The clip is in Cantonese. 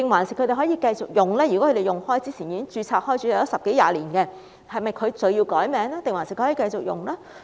如果他們一直使用這個名稱，或之前已經註冊十多二十年，是否需要更改名稱還是可以繼續使用？